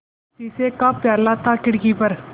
शीशे का प्याला था खिड़की पर